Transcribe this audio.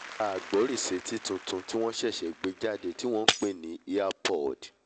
Àgbọ́rìsétí tuntun tí wọ́n ń pè ní earpod